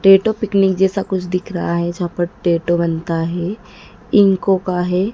Tattoo picnic जैसा कुछ दिख रहा है जहां पर टैटो बनता है। इनको का है।